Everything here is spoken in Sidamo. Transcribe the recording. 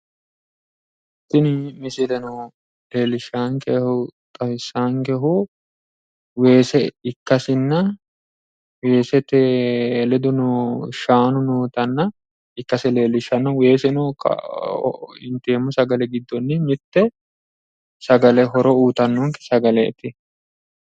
Tini misile leellishshaankehu weese ikkasinna weesete ledono shaanu shaanu nootanna ikkasi leellishshanno. Weeseno inteemmo sagale giddonni mitte sagale horo uyitanno sagaleeti.